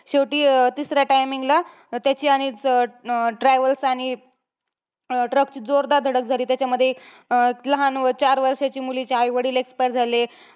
शेवटी अं तिसऱ्या timing ला, त्याची आणि अं अं travels आणि अं truck ची जोरदार धडक झाली. त्याच्यामध्ये अं लहान चार वर्षाच्या मुलीचे आईवडील expire झाले.